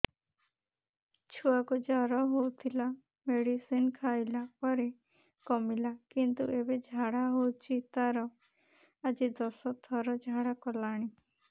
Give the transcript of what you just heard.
ଛୁଆ କୁ ଜର ହଉଥିଲା ମେଡିସିନ ଖାଇଲା ପରେ କମିଲା କିନ୍ତୁ ଏବେ ଝାଡା ହଉଚି ତାର ଆଜି ଦଶ ଥର ଝାଡା କଲାଣି